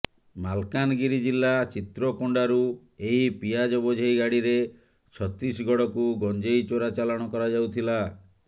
ମାଲକାନଗିରି ଜିଲ୍ଲା ଚିତ୍ରକୋଣ୍ଡାରୁ ଏହି ପିଆଜ ବୋଝେଇ ଗାଡ଼ିରେ ଛତିଶଗଡକୁ ଗଞ୍ଜେଇ ଚୋରା ଚାଲାଣ କରାଯାଉଥିଲା